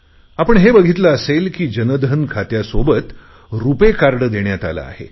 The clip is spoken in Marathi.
आपण हे बघितले असेल की जनधन खात्यासोबत रुपेकार्ड देण्यात आले आहे